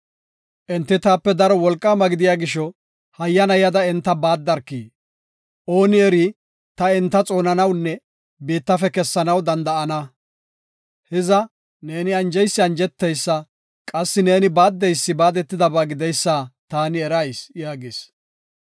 Enti taape daro wolqaama gidiya gisho, hayyana yada enta baaddarki. Ooni eri, ta enta xoonanawunne biittafe kessanaw danda7ana. Hiza, neeni anjeysi anjeteysa qassi neeni baaddeysi baadetidaba gideysa taani erayis” yaagis.